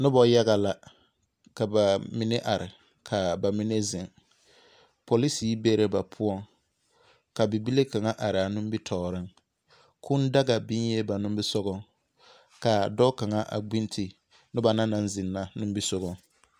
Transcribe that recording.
Noba yaga la, ka ba mine are kaa ba mine zeŋ. Polisihi be la ba poɔŋ, ka bibile kaŋa araa nimitɔɔreŋ. Kũũ daga biŋee ba nimisogɔŋ, ka dɔɔ kaŋa gbinti noba na naŋ zeŋ na nimisogaŋ.